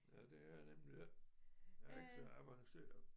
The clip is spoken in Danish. Ja det har jeg nemlig ikke jeg er ikke så avanceret